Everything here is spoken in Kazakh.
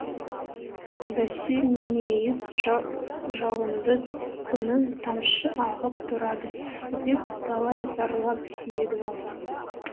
бәсе мейіз жауынды күні тамшы ағып тұрады деп талай зарлап еді ау